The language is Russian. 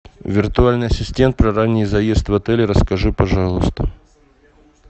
виртуальный ассистент про ранний заезд в отеле расскажи пожалуйста